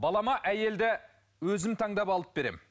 балама әйелді өзім таңдап алып беремін